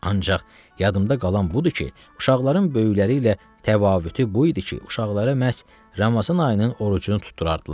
Ancaq yadımdan qalan budur ki, uşaqların böyüklərlə təvafütü bu idi ki, uşaqlara məhz Ramazan ayının orucunu tutdurardılar.